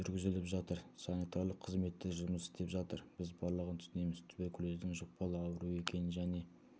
жүргізіліп жатыр санитарлық қызметтер жұмыс істеп жатыр біз барлығын түсінеміз туберкулездің жұқпалы ауру екенін және